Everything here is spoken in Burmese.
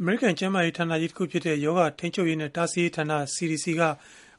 အမေရိကန် ကျန်းမာရေးဌာနကြီးတခုဖြစ်တဲ့ ရောဂါထိန်းချုပ်ရေးနဲ့ တားဆီးရေးဌာန (CDC)က